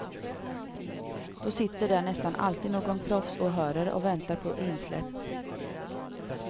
Då sitter där nästan alltid någon proffsåhörare och väntar på insläpp.